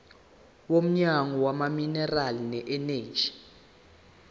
womnyango wezamaminerali neeneji